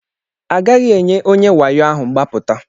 Agaghị enye onye wayo ahụ mgbapụta.